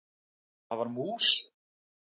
Það var mús!